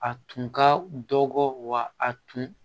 A tun ka dɔgɔ wa a tun